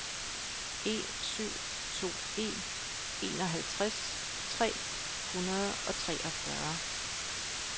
en syv to en enoghalvtreds tre hundrede og treogfyrre